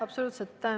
Absoluutselt.